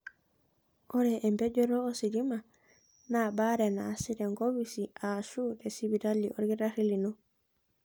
Ore empejoto ositima naa baare nasi tenkopisi aashu sipitali olkitarri lino.